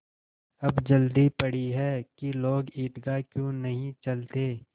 अब जल्दी पड़ी है कि लोग ईदगाह क्यों नहीं चलते